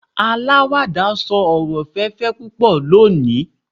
alawada sọ ọrọ ẹ̀fẹ̀ púpò leni